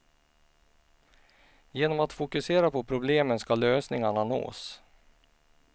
Genom att fokusera på problemen ska lösningarna nås.